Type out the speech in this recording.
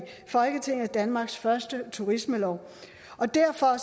folketinget danmarks første turismelov derfor